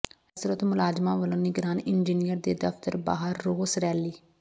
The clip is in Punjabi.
ਜਲ ਸਰੋਤ ਮੁਲਾਜ਼ਮਾਂ ਵਲੋਂ ਨਿਗਰਾਨ ਇੰਜੀਨੀਅਰ ਦੇ ਦਫ਼ਤਰ ਬਾਹਰ ਰੋਸ ਰੈਲੀ